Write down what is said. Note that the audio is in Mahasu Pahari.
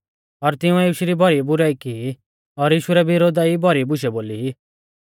और तिंउऐ यीशु री भौरी बुराई की और यीशु रै विरोधा ई भौरी बुशै बोली